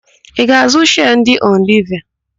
Ị ga-àzụ́ shịas ndị Yunileva?